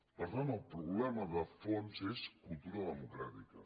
per tant el problema de fons és cultura democràtica